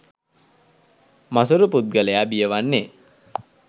මසුරු පුද්ගලයා බිය වන්නේ